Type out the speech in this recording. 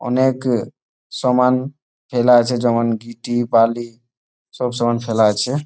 অনে-একএ সমান ফেলা আছে । যেমন গীটি বালি সব সমান ফেলা আছে।